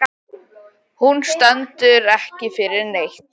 Hún stendur ekki fyrir neitt.